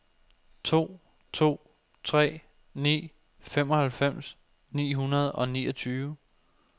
to to tre ni femoghalvfems ni hundrede og niogtyve